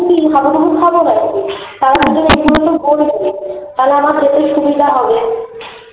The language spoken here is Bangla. তাহলে আমার যেতে সুবিধা হবে